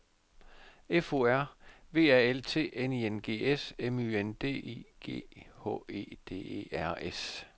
F O R V A L T N I N G S M Y N D I G H E D E R S